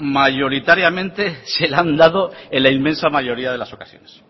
mayoritariamente se la han dado en la inmensa mayoría de las ocasiones